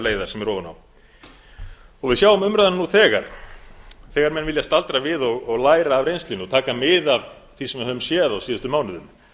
leiðar sem er ofan á við sjáum umræðuna nú þegar þegar menn vilja staldra við og læra af reynslunni og taka mið af því sem við höfum séð á síðustu mánuðum